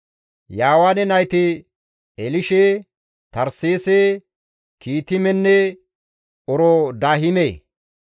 Yaawaane nayti Elishe, Tarseese, Kiitimenne Oroodahime.